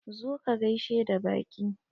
Zo ka gaishe da baƙi!